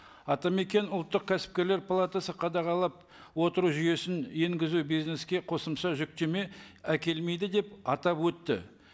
атамекен ұлттық кәсіпкерлер палатасы қадағалап отыру жүйесін енгізу бизнеске қосымша жүктеме әкелмейді деп атап өтті